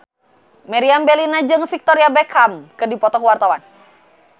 Meriam Bellina jeung Victoria Beckham keur dipoto ku wartawan